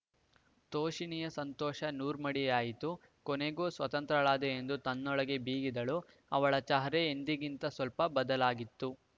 ತೋಷಿಣಿಯ ಸಂತೋಷ ನೂರ್ಮಡಿಯಾಯಿತು ಕೊನೆಗೂ ಸ್ವತಂತ್ರಳಾದೆ ಎಂದು ತನ್ನೊಳಗೇ ಬೀಗಿದಳು ಅವಳ ಚಹರೆ ಎಂದಿಗಿಂತ ಸ್ವಲ್ಪ ಬದಲಾಗಿತ್ತು